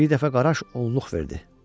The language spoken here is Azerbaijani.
Bir dəfə qaraş onluq verdi.